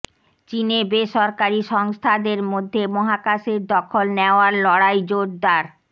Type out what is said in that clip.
চিনে বেসরকারি সংস্থাদের মধ্যে মহাকাশের দখল নেওয়ার লড়াই জোরদার